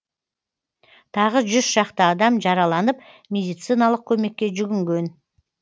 тағы жүз шақты адам жараланып медициналық көмекке жүгінген